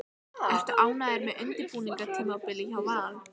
Ertu ánægður með undirbúningstímabilið hjá Val?